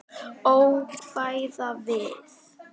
Ókvæða við